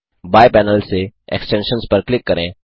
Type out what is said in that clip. बायें पैनल से एक्सटेंशंस पर क्लिक करें